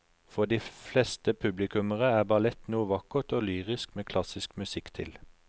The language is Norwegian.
For de fleste publikummere er ballett noe vakkert og lyrisk med klassisk musikk til.